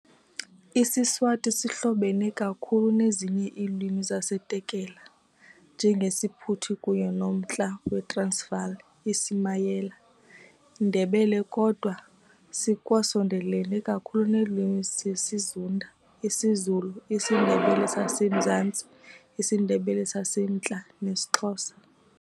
IsiSwati sihlobene kakhulu nezinye iilwimi zesiTekela, njengesiPhuthi kunye noMntla weTransvaal, iSumayela, Ndebele, kodwa sikwasondelelene kakhulu neelwimi zesiZunda - isiZulu, isiNdebele saseMzantsi, isiNdebele saseMntla, nesiXhosa.